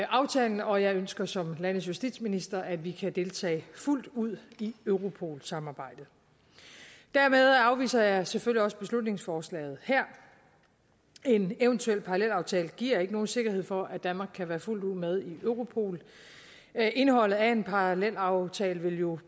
aftalen og jeg ønsker som landets justitsminister at vi kan deltage fuldt ud i europol samarbejdet dermed afviser jeg selvfølgelig også beslutningsforslaget her en eventuel parallelaftale giver ikke nogen sikkerhed for at danmark kan være fuldt ud med i europol indholdet af en parallelaftale vil jo